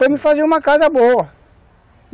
Para me fazer uma casa boa.